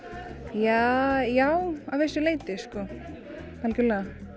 ja já að vissu leyti sko algerlega